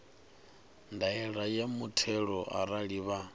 ndaela ya muthelo arali vha